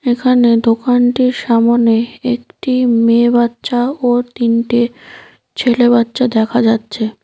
এখানে দোকানটির সামোনে একটি মেয়ে বাচ্চা ও তিনটে ছেলে বাচ্চা দেখা যাচ্ছে ।